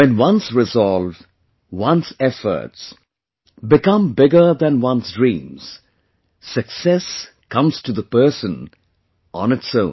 When one's resolve, one's efforts, become bigger than one's dreams, success comes to the person on its own